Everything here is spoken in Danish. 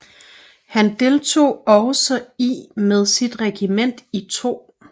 Han deltog også i med sit regiment i 2